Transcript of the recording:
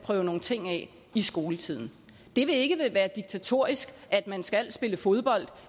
prøve nogle ting af i skoletiden det vil ikke være diktatorisk at man skal spille fodbold